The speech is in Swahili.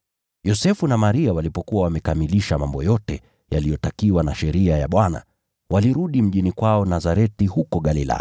Yosefu na Maria walipokuwa wamekamilisha mambo yote yaliyotakiwa na Sheria ya Bwana, walirudi mjini kwao Nazareti huko Galilaya.